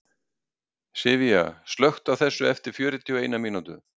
Sivía, slökktu á þessu eftir fjörutíu og eina mínútur.